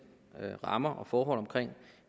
rammer og forhold omkring